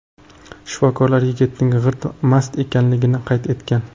Shifokorlar yigitning g‘irt mast ekanligini qayd etgan.